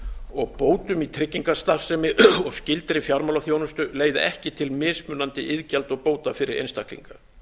og bótum í tryggingastarfsemi og skyldri fjármálaþjónustu leiði ekki til mismunandi iðgjalda og bóta fyrir einstaklinga